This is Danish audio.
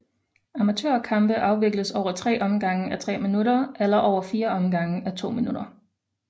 Amatørkampe afvikles over tre omgange à tre minutter eller over fire omgange à to minutter